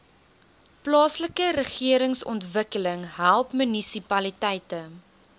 plaaslikeregeringsontwikkeling help munisipaliteite